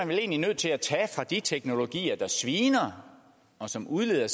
vel egentlig nødt til at tage fra de teknologier der sviner og som udleder